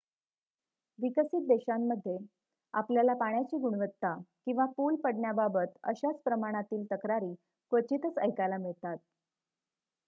विकसित देशांमध्ये आपल्याला पाण्याची गुणवत्ता किंवा पुल पडण्याबाबत अशाच प्रमाणातील तक्रारी क्वचितच ऐकायला मिळतात